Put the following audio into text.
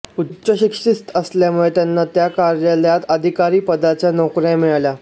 उच्च शिक्षित असल्यामुळे त्यांना त्या कार्यालयात अधिकारीपदाच्या नोकर्या मिळाल्या